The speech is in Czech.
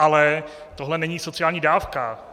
Ale tohle není sociální dávka.